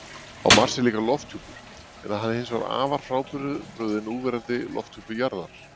Á Mars er líka lofthjúpur, en hann er hins vegar afar frábrugðinn núverandi lofthjúpi jarðarinnar.